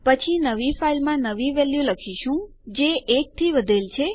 પછી આપણે આપણી નવી ફાઈલમાં નવી વેલ્યુ લખી રહ્યાં છે જે 1 થી વધેલ છે